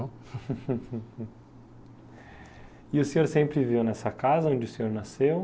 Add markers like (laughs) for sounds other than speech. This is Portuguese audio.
(laughs) E o senhor sempre viveu nessa casa onde o senhor nasceu?